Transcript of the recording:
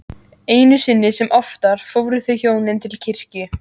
Einu sinni sem oftar fóru þau hjónin til kirkju.